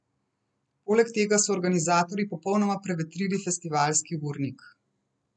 Poleg tega so organizatorji popolnoma prevetrili festivalski urnik.